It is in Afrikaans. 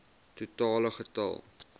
totale getal